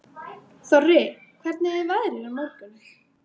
Þorri, hvernig er veðrið á morgun?